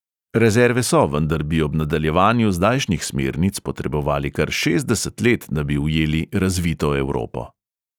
Rezerve so, vendar bi ob nadaljevanju zdajšnjih smernic potrebovali kar šestdeset let, da bi ujeli razvito evropo.